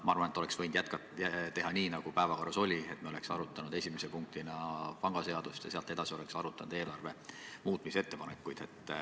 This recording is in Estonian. Ma arvan, et oleks võinud teha nii, nagu päevakorras oli, et me oleks arutanud esimese punktina pangaseadust ja pärast seda oleks arutanud eelarve muutmise ettepanekuid.